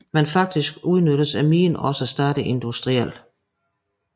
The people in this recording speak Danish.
Men faktisk udnyttes minen også stadig industrielt